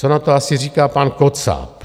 Co na to asi říká pan Kocáb?